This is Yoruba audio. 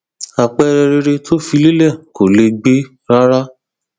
àpẹẹrẹ rere tó fi lélẹ kò lẹgbẹ rárá